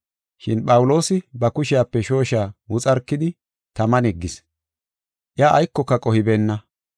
Shin Phawuloosi ba kushiyape shooshaa wuxarkidi, taman yeggis; iya aykoka qohibeenna.